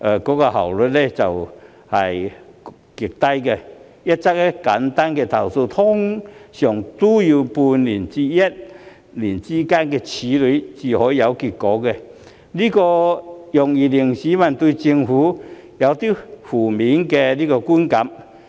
舉例而言，處理一則簡單的投訴，往往也需時半年至一年才會有結果，這容易令市民對政府產生負面的觀感。